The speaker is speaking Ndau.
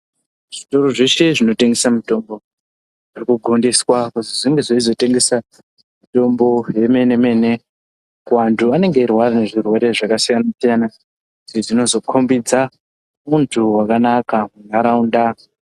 Zvitoro zveshe zvinotengesa mitombo ,zvinogondiswa kuti zvinge zveizotengesa mitombo yemene-mene kuvantu ,vanenge veirwara nezvirwere zvakasiyana-siyana, zvinozokhombodza untu hwakanaka munharaunda.